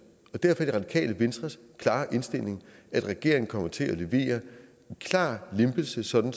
og derfor er det radikale venstres klare indstilling at regeringen kommer til at levere en klar lempelse sådan